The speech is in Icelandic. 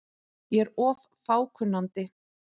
Ég er of fákunnandi.